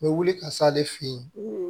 N bɛ wuli ka s'ale fɛ yen